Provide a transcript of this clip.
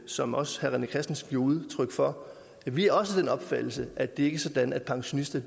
som også herre rené christensen giver udtryk for at vi også den opfattelse at det ikke er sådan at pensionister